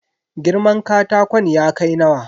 Girman katakon ya kai nawa?